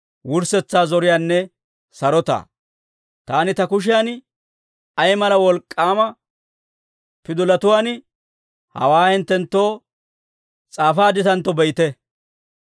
Taani ta kushiyan, ay mala wolk'k'aama pidolatuwaan, hawaa hinttenttoo s'aafaadditantto be'ite.